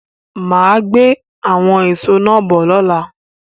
I'll come with those fruits tomorrow